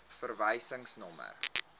verwysingsnommer